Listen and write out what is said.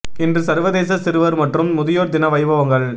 இன்று சர்வதேச சிறுவர் மற்றும் முதியோர் தின வைபவங்கள்